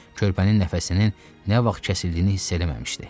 Körpənin nəfəsinin nə vaxt kəsildiyini hiss eləməmişdi.